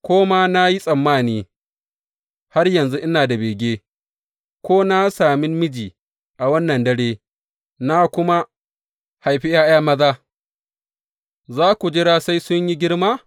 Ko ma na yi tsammani har yanzu ina da bege, ko ma na sami miji a wannan dare na kuma haifi ’ya’ya maza, za ku jira sai sun yi girma?